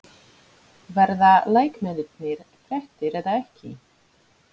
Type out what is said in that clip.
Verða leikmennirnir þreyttir eða ekki?